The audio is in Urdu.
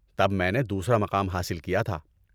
تب میں نے دوسرا مقام حاصل کیا تھا۔